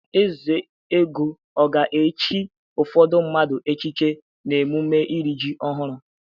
Ezeogo ọ ga-echi ụfọdụ mmadụ echichi n'emume iri ji ọhụrụ?